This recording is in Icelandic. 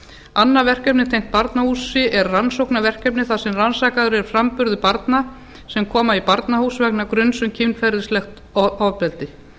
annað verkefni tengt barnahúsi er rannsóknarverkefni þar sem rannsakaður er framburður barna sem koma í barnahús vegna gruns um kynferðislegt ofbeldi